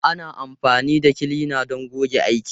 Ana amfani da kilina don goge aiki.